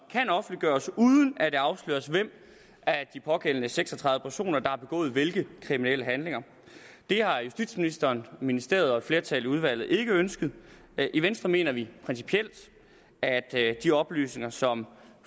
kan offentliggøres uden at det afsløres hvem af de pågældende seks og tredive personer der har begået hvilke kriminelle handlinger det har justitsministeren ministeriet og et flertal i udvalget ikke ønsket i venstre mener vi principielt at de oplysninger som